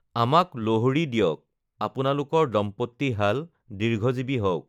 আমাক লোহৰী দিয়ক, আপোনালোকৰ দম্পতীহাল দীৰ্ঘজীৱী হওক!